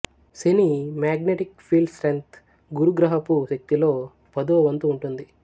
శని magnetic field strength గురు గ్రహపు శక్తిలో పదో వంతు ఉంటుంది